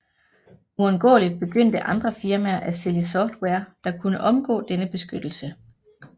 Uundgåeligt begyndte andre firmaer at sælge software der kunne omgå denne beskyttelse